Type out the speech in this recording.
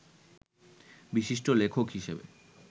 বিশিষ্ট লেখক হিসেবে